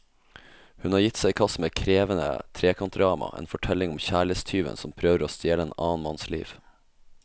Hun har gitt seg i kast med et krevende trekantdrama, en fortelling om kjærlighetstyven som prøver å stjele en annen manns liv.